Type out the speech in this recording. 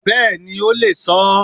Bẹ́ẹ̀ni o lè sọ ọ́.